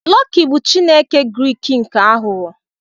Loki bụ Chineke Grik nke aghụghọ.